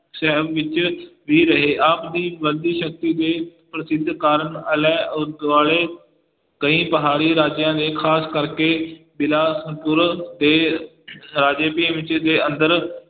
ਸ਼ਹਿਰ ਵਿੱਚ ਵੀ ਰਹੇ ਆਪ ਦੀ ਬੰਦੀ ਸ਼ਕਤੀ ਦੇ ਪ੍ਰਸਿੱਧ ਕਾਰਕ ਆਲੇ ਅਹ ਦੁਆਲੇ ਕਈ ਪਹਾੜੀ ਰਾਜਿਆਂ ਦੇ ਖ਼ਾਸ ਕਰਕੇ ਬਿਲਾਸਪੁਰ ਦੇ ਰਾਜੇ ਤੇ ਦੇ ਅੰਦਰ